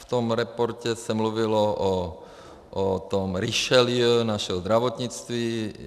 V tom reportu se mluvilo o tom Richelieu našeho zdravotnictví.